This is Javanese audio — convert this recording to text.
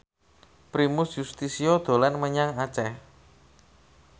Primus Yustisio dolan menyang Aceh